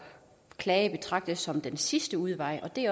at klage betragtes som den sidste udvej det